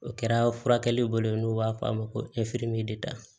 O kɛra furakɛli bolo n'o b'a f'a ma ko